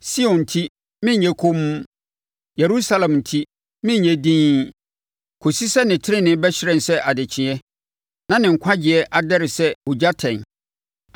Sion enti, merenyɛ komm, Yerusalem enti, merenyɛ dinn, kɔsi sɛ ne tenenee bɛhyerɛn sɛ adekyeɛ, na ne nkwagyeɛ adɛre sɛ ogyatɛn.